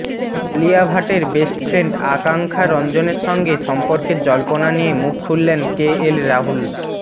আলিয়া ভট্টর best friend Akansha রঞ্জনের সঙ্গে সম্পর্কের জল্পনা নিয়ে মুখ খুললেন কে এল রাহুল